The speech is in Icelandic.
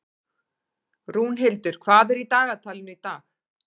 Rúnhildur, hvað er í dagatalinu í dag?